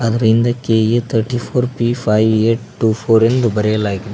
ಅದರ ಹಿಂದೆ K A thirty four P five eight two four ಎಂದು ಬರೆಯಲಾಗಿದೆ.